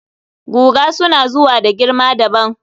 guga suna zuwa da girma dabam